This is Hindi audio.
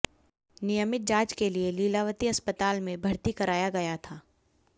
नियमित जांच के लिए लीलावती अस्पताल में भर्ती कराया गया था